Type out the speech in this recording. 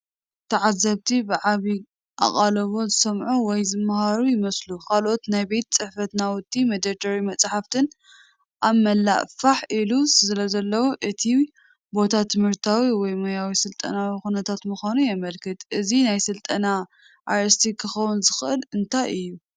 ተዓዘብቲ ብዓቢ ኣቓልቦ ዝሰምዑ ወይ ዝመሃሩ ይመስሉ። ካልኦት ናይ ቤት ጽሕፈት ናውቲን መደርደሪ መጻሕፍትን ኣብ መላእ ፋሕ ኢሎም ስለዘለዉ፡ እቲ ቦታ ትምህርታዊ ወይ ሞያዊ ስልጠናዊ ኵነታት ምዃኑ የመልክት። ናይዚ ስልጠና ኣርእስቲ ክኸውን ዝኽእል እንታይ እዩ?